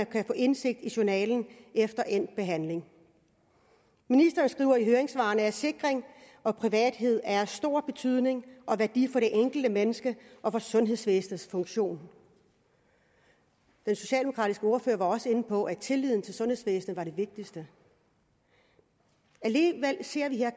kan få indsigt i journalen efter endt behandling ministeren skriver i høringssvarene at sikkerhed og privathed er af stor betydning og værdi for det enkelte menneske og for sundhedsvæsenets funktion den socialdemokratiske ordfører var også inde på at tilliden til sundhedsvæsenet var det vigtigste alligevel ser vi her